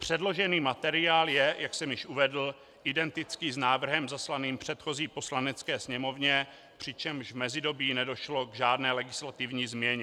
Předložený materiál je, jak jsem již uvedl, identický s návrhem zaslaným předchozí Poslanecké sněmovně, přičemž v mezidobí nedošlo k žádné legislativní změně.